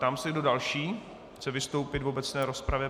Ptám se, kdo další chce vystoupit v obecné rozpravě.